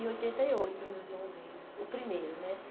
Em oitenta e oito o meu irmão veio, o primeiro, né?